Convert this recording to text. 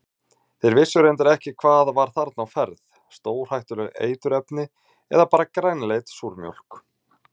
Þeir vissu reyndar ekki hvað var þarna á ferð, stórhættuleg eiturefni eða bara grænleit súrmjólk?